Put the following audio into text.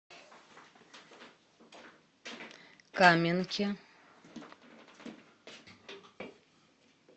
каменке